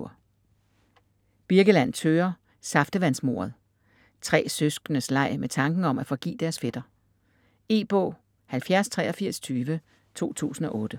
Birkeland, Thøger: Saftevands-mordet Tre søskendes leg med tanken om at forgive deres fætter. E-bog 708320 2008.